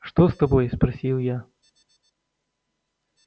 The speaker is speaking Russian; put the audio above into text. что с тобой спросил я